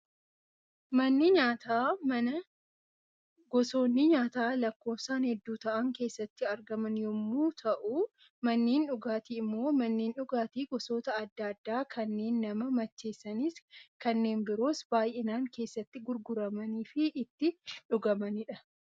Manni nyaataa, mana gosoonni nyaataa lakkoofsaan hedduu ta'an keessatti argaman yemmuu ta'an, manneen dhugaatii immoo manneen dhugaatii gosoota addaa addaa kanneen nama macheessanis, kanneen biroos baayyinaan keessatti gurguramanii fi itti dhugamanidha.